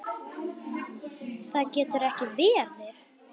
Það getur ekki verið